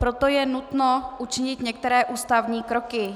Proto je nutno učinit některé ústavní kroky.